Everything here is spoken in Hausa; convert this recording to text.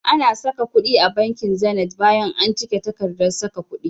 Ana saka kudi a banki Zenith bayan an cike takardar saka kudi.